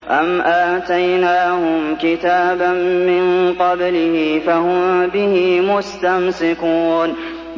أَمْ آتَيْنَاهُمْ كِتَابًا مِّن قَبْلِهِ فَهُم بِهِ مُسْتَمْسِكُونَ